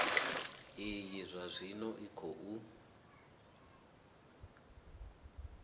iyi zwa zwino i khou